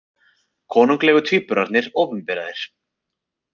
Konunglegu tvíburarnir opinberaðir